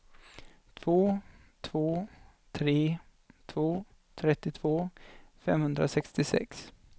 två två tre två trettiotvå femhundrasextiosex